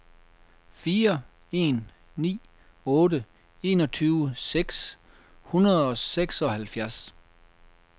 fire en ni otte enogtyve seks hundrede og seksoghalvfjerds